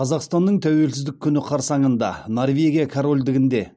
қазақстанның тәуелсіздік күні қарсаңында норвегия корольдігінде